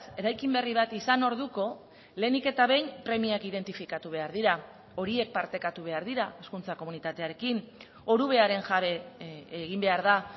eraikin berri bat izan orduko lehenik eta behin premiak identifikatu behar dira horiek partekatu behar dira hezkuntza komunitatearekin orubearen jabe egin behar da